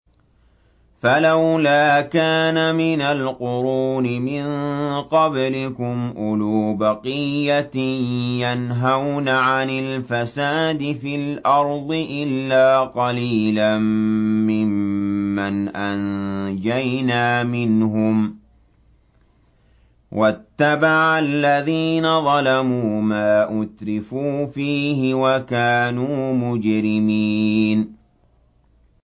فَلَوْلَا كَانَ مِنَ الْقُرُونِ مِن قَبْلِكُمْ أُولُو بَقِيَّةٍ يَنْهَوْنَ عَنِ الْفَسَادِ فِي الْأَرْضِ إِلَّا قَلِيلًا مِّمَّنْ أَنجَيْنَا مِنْهُمْ ۗ وَاتَّبَعَ الَّذِينَ ظَلَمُوا مَا أُتْرِفُوا فِيهِ وَكَانُوا مُجْرِمِينَ